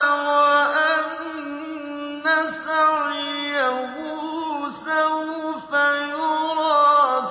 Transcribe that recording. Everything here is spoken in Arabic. وَأَنَّ سَعْيَهُ سَوْفَ يُرَىٰ